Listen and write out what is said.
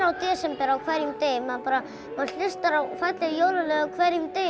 desember á hverjum degi maður hlustar á falleg jólalög á hverjum degi